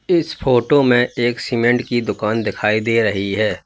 इस फोटो में एक सीमेंट की दुकान दिखाई दे रही है।